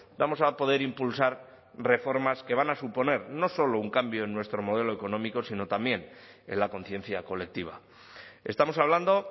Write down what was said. vamos a poder impulsar reformas que van a suponer no solo un cambio en nuestro modelo económico sino también en la conciencia colectiva estamos hablando